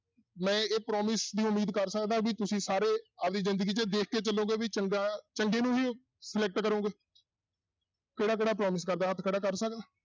ਮੈਂ ਇਹ promise ਦੀ ਉਮੀਦ ਕਰ ਸਕਦਾਂ ਵੀ ਤੁਸੀਂ ਸਾਰੇ ਆਪਦੀ ਜ਼ਿੰਦਗੀ 'ਚ ਦੇਖ ਕੇ ਚੱਲੋਗੇ ਵੀ ਚੰਗਾ ਚੰਗੇ ਨੂੰ ਹੀ select ਕਰੋਂਗੇ ਕਿਹੜਾ ਕਿਹੜਾ promise ਕਰਦਾ ਹੱਥ ਖੜਾ ਕਰ ਸਕਦਾ।